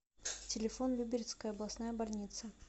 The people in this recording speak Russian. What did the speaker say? телефон люберецкая областная больница